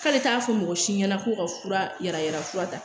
K'ale t'a fɔ mɔgɔ si ɲɛna ko ka fura yala yala fura ta